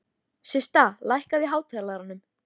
Systa, lækkaðu í hátalaranum.